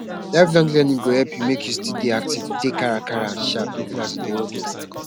lifelong learning go help u make u still dey active dey kakaraka and sharp even as u dey old oo